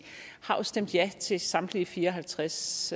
har jo stemt ja til samtlige fire og halvtreds